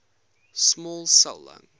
small cell lung